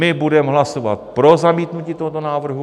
My budeme hlasovat pro zamítnutí tohoto návrhu.